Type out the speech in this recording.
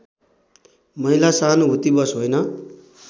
महिला सहानुभूतिवश होइन